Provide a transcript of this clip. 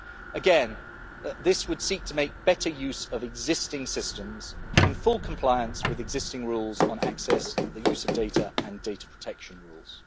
Again this would seek to make better use of existing systems in full compliance with existing rules on access, the use of data and data protection rules.